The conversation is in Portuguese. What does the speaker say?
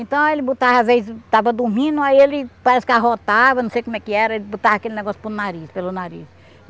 Então, ele botava, às vezes, estava dormindo, aí ele parece que arrotava, não sei como é que era, ele botava aquele negócio pelo nariz, pelo nariz.